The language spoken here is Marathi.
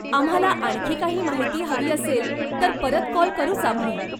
आम्हाला आणखी काही माहिती हवी असेल, तर परत कॉल करूच आम्ही.